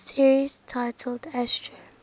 series titled astro